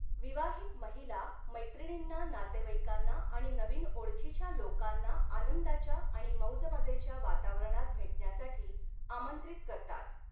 विवाहित महिला मैत्रिणींना, नातेवाईकांना आणि नवीन ओळखीच्या लोकांना आनंदाच्या आणि मौजमजेच्या वातावरणात भेटण्यासाठी आमंत्रित करतात.